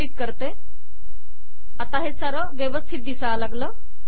संकलित करतेआता सारे व्यवस्थित झाले